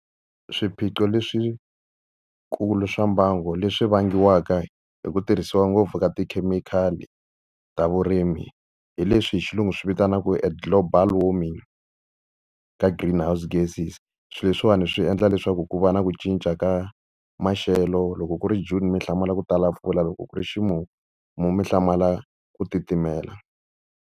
Swiphiqo leswikulu swa mbangu leswi vangiwaka hi ku tirhisiwa ngopfu ka tikhemikhali ta vurimi hi leswi hi xilungu swi vitanaku eglobal warming ka green house gases. Swilo leswiwani swi endla leswaku ku va na ku cinca ka maxelo loko ku ri June mi hlamula ku tala mpfula loko ku ri ximumu mo mi hlamala ku titimela.